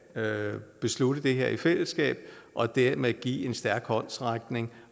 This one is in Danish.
beslutte det her i fællesskab og dermed give en stærk håndsrækning